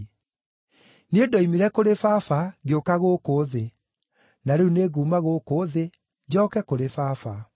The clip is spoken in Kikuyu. Niĩ ndoimire kũrĩ Baba, ngĩũka gũkũ thĩ; na rĩu nĩnguuma gũkũ thĩ, njooke kũrĩ Baba.”